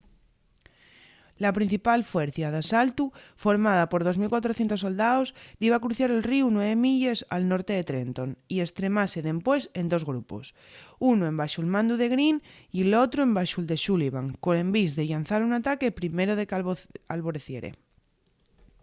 la principal fuercia d’asaltu formada por 2.400 soldaos diba cruciar el ríu nueve milles al norte de trenton y estremase dempués en dos grupos unu embaxo’l mandu de greene y l’otru embaxu’l de sullivan col envís de llanzar un ataque primero de qu’alboreciere